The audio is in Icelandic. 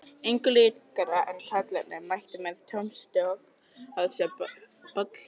Engu líkara en karlarnir mæti með tommustokka á þessi böll fullorðna fólksins.